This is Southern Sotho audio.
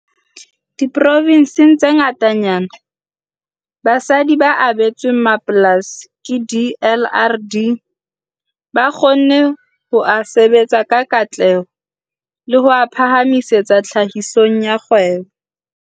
Diprovenseng tse ngatanyana, basadi ba abetsweng mapolasi ke DLRD ba kgonne ho a sebetsa ka katleho le ho a phahamisetsa tlhahisong ya kgwebo.